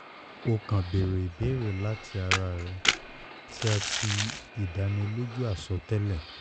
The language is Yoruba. o kan beere ibeere lati ara rẹ ti a ti idaniloju asọtẹlẹ